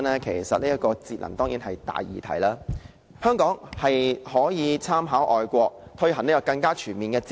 其實，節能當然是大議題，香港可以參考外國的做法，更全面推行節能。